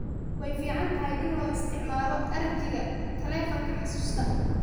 Way fiicantahay in loo isticmaalo arjiga taleefanka xusuusta.